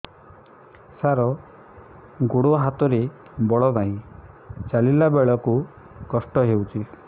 ସାର ଗୋଡୋ ହାତରେ ବଳ ନାହିଁ ଚାଲିଲା ବେଳକୁ କଷ୍ଟ ହେଉଛି